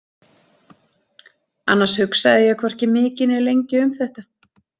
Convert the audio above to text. Annars hugsaði ég hvorki mikið né lengi um þetta.